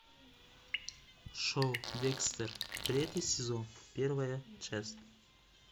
шоу декстер третий сезон первая часть